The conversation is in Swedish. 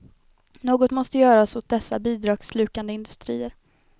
Något måste göras åt dessa bidragsslukande industrier.